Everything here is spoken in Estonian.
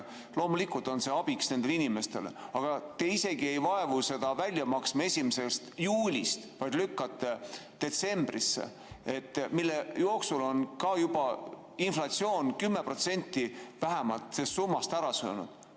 Loomulikult on see abiks nendele inimestele, aga te isegi ei vaevu seda välja maksma 1. juulist, vaid lükkate detsembrisse, mille jooksul on ka juba inflatsioon 10% vähemalt sellest summast ära söönud.